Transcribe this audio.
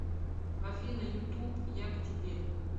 афина ютуб я к тебе